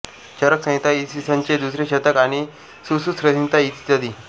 चरकसंहिता इ स चे दुसरे शतक आणि सुश्रुतसंहिता इ